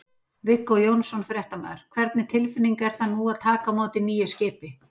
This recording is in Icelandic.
Viggó Jónsson, fréttamaður: Hvernig tilfinning er það nú að taka á móti nýju skipi?